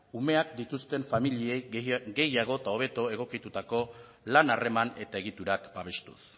umeak dituzten familiei gehiago eta hobeto egokitutako lan harreman eta egiturak babestuz